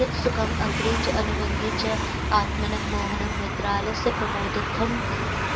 यत् सुखम् अग्रे च अनुबन्धे च आत्मनः मोहनं निद्रालस्यप्रमादोत्थं